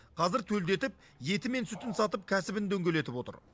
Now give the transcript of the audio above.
қазір төлдетіп еті мен сүтін сатып кәсібін дөңгелетіп отыр